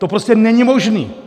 To prostě není možný.